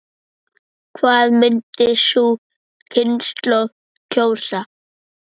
Hvað myndi sú kynslóð kjósa?